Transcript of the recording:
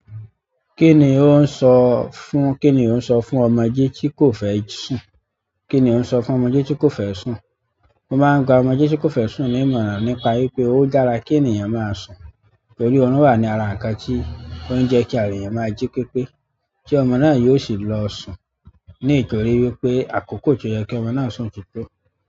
Kí ni ó ń sọ fún—kí ni ó ń sọ fún ọmọdé tí kò fẹ́ sùn? Kí ni ó ń sọ fún ọmọdé tí kò fẹ́ sùn? Mo máa ń gba ọmọdé tí kò fẹ́ sùn ní ìmọ̀ràn nípa wípé ó dára kí ènìyàn máa sùn, torí oorun wà ní ara nǹkan tí ó ń jẹ́ kí ara ènìyàn máa jí pépé, tí ọmọ náà yóò sì lọ sùn. Ní ìtorí wípé àkókò ti ó yẹ kí ọmọ náà sùn titó.